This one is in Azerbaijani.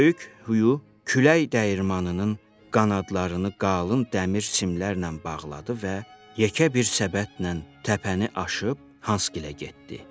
Böyük Hüyo külək dəyirmanının qanadlarını qalın dəmir simlərlə bağladı və yekə bir səbətlə təpəni aşıb Hansgilə getdi.